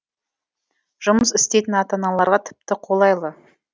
жұмыс істейтін ата аналарға тіпті қолайлы